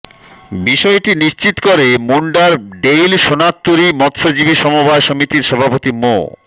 বিষয়টি নিশ্চিত করে মুন্ডার ডেইল সোনারতরী মৎস্যজীবি সমবায় সমিতির সভাপতি মো